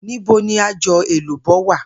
Níbo ni aj̀ò̩ èlùbó̩ wà?